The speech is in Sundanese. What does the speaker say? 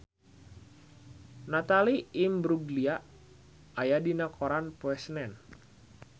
Natalie Imbruglia aya dina koran poe Senen